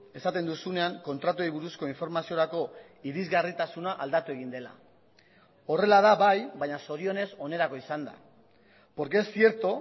esaten duzunean kontratuei buruzko informaziorako irizgarritasuna aldatu egin dela horrela da bai baina zorionez onerako izan da porque es cierto